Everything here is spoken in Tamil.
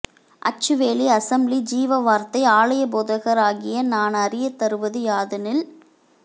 அச்சுவேலி அசெம்பிளி ஜீவவார்த்தை ஆலயப் போதகர் ஆகிய நான் அறியத்தருவது யாதெனில்